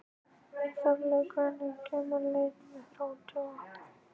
Þorlaug, hvenær kemur leið númer þrjátíu og átta?